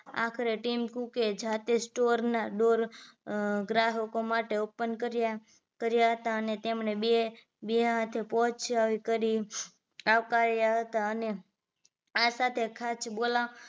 આખરે team cook કે જાતે જ store ના dor ગ્રાહકો માટે open કર્યા કર્યા હતા અને તેમણે બે બે હાથે પહોંચ ચાવી કરી આવકાર્યા હતા અને આવતાં ત્યાં ખાસ બોલાવવા